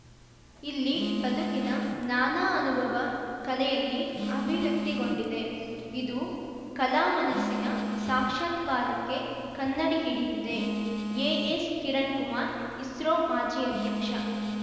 ಇಲ್ಲಿ ಬದುಕಿನ ನಾನಾ ಅನುಭವ ಕಲೆಯಲ್ಲಿ ಅಭಿವ್ಯಕ್ತಿಗೊಂಡಿದೆ ಇದು ಕಲಾ ಮನಸ್ಸಿನ ಸಾಕ್ಷ್ಯಾತ್ಕಾರಕ್ಕೆ ಕನ್ನಡಿ ಹಿಡಿದಿದೆ ಎಎಸ್‌ಕಿರಣ್‌ಕುಮಾರ್‌ ಇಸ್ರೋ ಮಾಜಿ ಅಧ್ಯಕ್ಷ